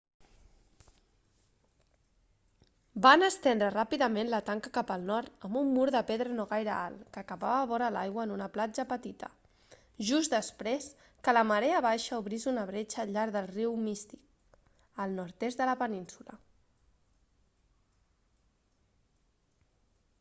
van estendre ràpidament la tanca cap al nord amb un mur de pedra no gaire alt que acabava vora l'aigua en una platja petita just després que la marea baixa obrís una bretxa al llarg del riu mystic al nord-est de la península